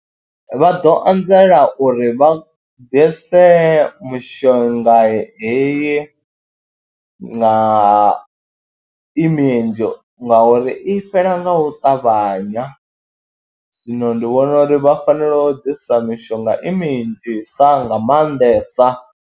Vha ḓo anzela uri vha ḓise mishonga heyi na i minzhi ngauri i fhela nga u ṱavhanya, zwino ndi vhona uri vha fanela u ḓisa mishonga i minzhi sa nga maanḓesa.